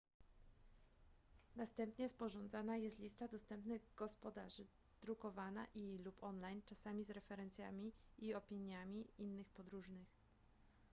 następnie sporządzana jest lista dostępnych gospodarzy drukowana i / lub online czasami z referencjami i opiniami innych podróżnych